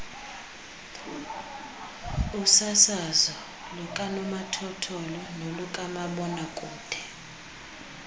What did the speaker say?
usasazo lukanomathotholo nolukamabonakude